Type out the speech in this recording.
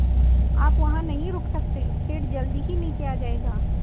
आप वहाँ नहीं रुक सकते पेड़ जल्दी ही नीचे आ जाएगा